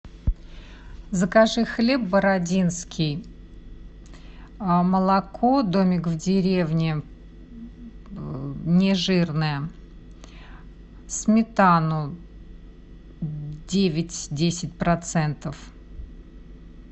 закажи хлеб бородинский молоко домик в деревне нежирное сметану девять десять процентов